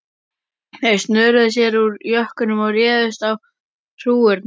Þeir snöruðu sér úr jökkunum og réðust á hrúgurnar.